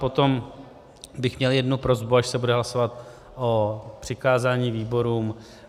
Potom bych měl jednu prosbu, až se bude hlasovat o přikázání výborům.